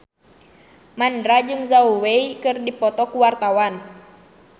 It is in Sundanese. Mandra jeung Zhao Wei keur dipoto ku wartawan